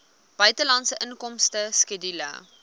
buitelandse inkomste skedule